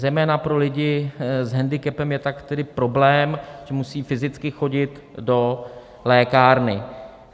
Zejména pro lidi s hendikepem je tak tedy problém, že musí fyzicky chodit do lékárny.